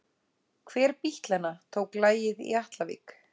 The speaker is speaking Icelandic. Hver bítlanna tók lagið í Atlavík?